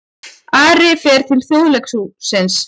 Ari fer til Þjóðleikhússins